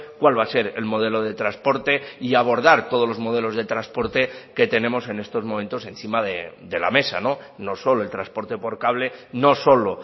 cuál va a ser el modelo de transporte y abordar todos los modelos de transporte que tenemos en estos momentos encima de la mesa no solo el transporte por cable no solo